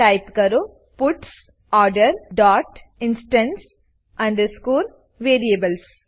type કરો puts order dot instance underscore variables